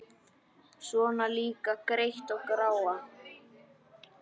Svona líka gretta og gráa.